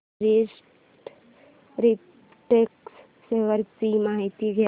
Orient Refract share ची माहिती द्या